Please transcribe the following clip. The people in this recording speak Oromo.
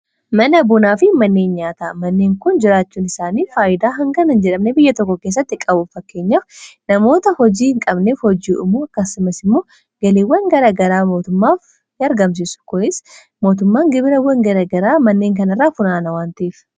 Mana bunaa fi manneen nyaataa: Manneen kun jiraachuun isaanii faayidaa hanganan jiramne biyya tokko keessatti qabuf fakkeenyaf namoota hojii hin qabnef hojii uumuu akkasumas immoo galiiwwan garagaraa mootummaaf argamsisu kunis mootummaan gibirawwan garagaraa manneen kanirraa funaana wantiif